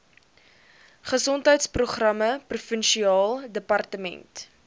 gesondheidsprogramme provinsiale departement